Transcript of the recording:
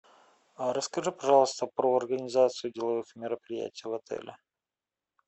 расскажи пожалуйста про организацию деловых мероприятий в отеле